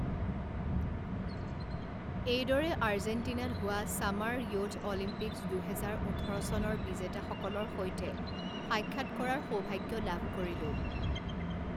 এইদৰে আৰ্জেণ্টিনাত হোৱা ছামাৰ ইয়থ অলিম্পিকছ দুহেজাৰ ওঠৰ চনৰ বিজেতাসকলৰ সৈতে সাক্ষাৎ কৰাৰ সৌভাগ্য লাভ কৰিলো।